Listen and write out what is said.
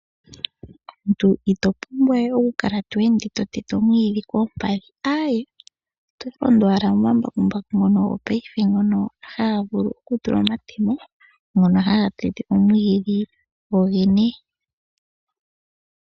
Omuntu ito pumbwa we okukala to ende to tete omwiidhi koompadhi, aaye, oto londo owala momambakumbaku mono gopaife, ngono haga tulwa omatemo ngono haga tete omwiidhi go gene.